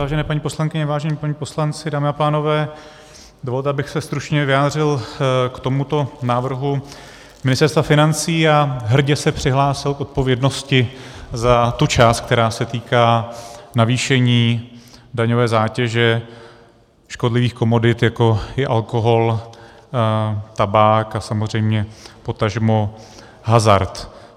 Vážené paní poslankyně, vážení páni poslanci, dámy a pánové, dovolte, abych se stručně vyjádřil k tomuto návrhu Ministerstva financí a hrdě se přihlásil k odpovědnosti za tu část, která se týká navýšení daňové zátěže škodlivých komodit, jako je alkohol, tabák a samozřejmě potažmo hazard.